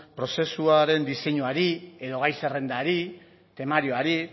prozesuaren diseinuari edo gai zerrendari temarioari